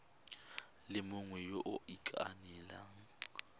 le mongwe yo o ikaelelang